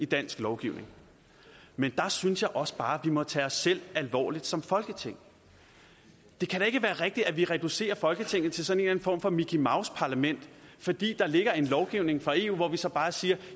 dansk lovgivning men der synes jeg også bare at må tage os selv alvorligt som folketing det kan da ikke være rigtigt at vi reducerer folketinget til sådan en form for mickey mouse parlament fordi der ligger en lovgivning fra eu hvor vi så bare siger